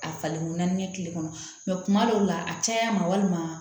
A falennna kɛ tile kɔnɔ kuma dɔw la a caya ma walima